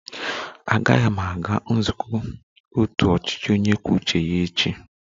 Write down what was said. Agaghị m aga nzukọ otu ọchịchị onye kwuo uche ya echi